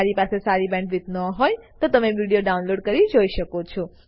જો તમારી પાસે સારી બેન્ડવિડ્થ ન હોય તો તમે વિડીયો ડાઉનલોડ કરીને જોઈ શકો છો